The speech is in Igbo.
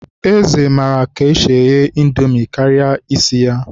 Eze maara eghe Indomi karịa isi ya esi.